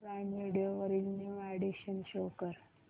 prime video वरील new additions show कर